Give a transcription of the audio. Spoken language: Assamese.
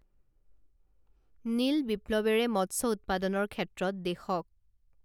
নীল বিপ্লৱেৰে মৎস্য উৎপাদনৰ ক্ষেত্ৰত দেশক